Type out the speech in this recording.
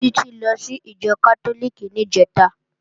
Títí lọ sí ìjọ Kátólíìkì níjẹ̀ta